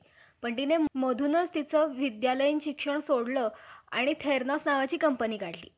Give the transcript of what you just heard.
सर्व मनुष्य मात्रांच्या उत्पत्तीस खरोखर कारण असतात~ असता तर त्याची दास करण्याची संधीच केली नसती. म्हणून हे चार वर्णांची उत्पत्ती लिहिली आहे.